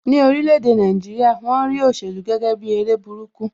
Ní orílè èdè Nàìjíríà, won rí òṣèlú gẹ́gẹ́ bi eré burúkú